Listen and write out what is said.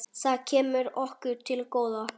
Það kemur okkur til góða.